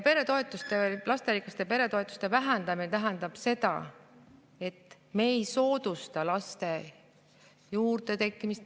Lasterikka pere toetuse vähendamine tähendab seda, et me ei soodusta laste juurdetekkimist.